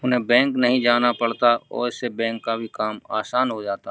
उन्हें बैंक नहीं जाना पड़ता और इससे बैंक का भी काम आसान हो जाता।